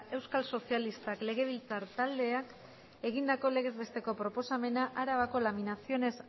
euskal sozialistak legebiltzar taldeek egindako legez besteko proposamena arabako laminaciones